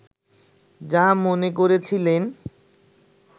যা মনে করেছিলেন